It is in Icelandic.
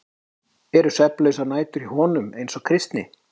Eru svefnlausar nætur hjá honum eins og Kristni?